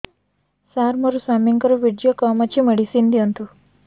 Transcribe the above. ସାର ମୋର ସ୍ୱାମୀଙ୍କର ବୀର୍ଯ୍ୟ କମ ଅଛି ମେଡିସିନ ଦିଅନ୍ତୁ